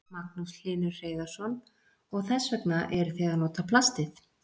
Magnús Hlynur Hreiðarsson: Og þess vegna eruð þið að nota plastið?